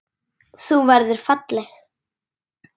Þú verður falleg.